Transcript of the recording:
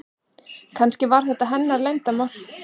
Kannski var þetta hennar leyndarmál.